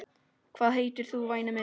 Hvað heitir þú væni minn?